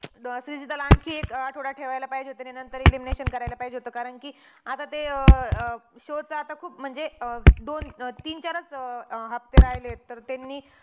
तर श्रीजीताला आणखी एक आठवडा ठेवायला पाहिजे होतं. आणि नंतर elimination करायला पाहिजे होतं. कारण कि आता ते अं अं शेवटचं आता खूप म्हणजे अं दोन, तीन, चारचं अं अं हफ्ते राहिलेत. तर त्यांनी